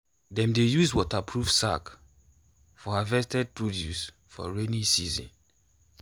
dem dey use waterproof sack for harvested produce for rainy season.